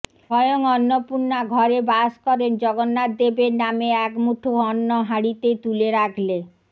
স্বয়ং অন্নপূর্ণা ঘরে বাস করেন জগন্নাথদেবের নামে এক মুঠো অন্ন হাঁড়িতে তুলে রাখলে